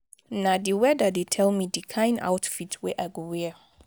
na di weather dey tell me di kain outfit wey i go wear.